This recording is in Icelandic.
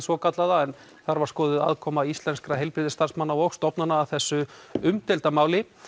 svo kallaða en þar var skoðuð aðkoma íslenskra heilbrigðisstarfsmanna og stofnana að þessu umdeilda máli